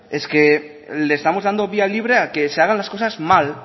es que le estamos dando vía libre a que se hagan las cosas mal